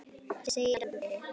segir Andri.